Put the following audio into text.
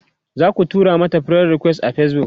zaku tura mata friend request a Facebook?